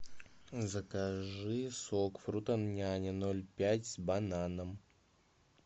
закажи сок фрутоняня ноль пять с бананом